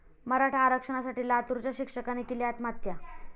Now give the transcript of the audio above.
मराठा आरक्षणासाठी लातूराच्या शिक्षकाने केली आत्महत्या